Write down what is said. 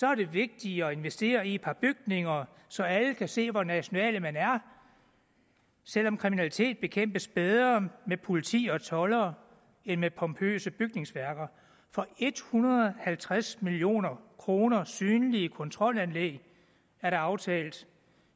er det vigtigere at investere i et par bygninger så alle kan se hvor nationale man er selv om kriminalitet bekæmpes bedre med politi og toldere end med pompøse bygningsværker for en hundrede og halvtreds million kroner synlige kontrolanlæg er der aftalt